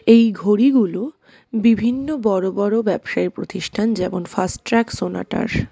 এই ঘড়িগুলো বিভিন্ন বড়ো বড়ো ব্যবসায়ীর প্রতিষ্ঠান যেমন ফাস্টট্র্যাক সোনাটার.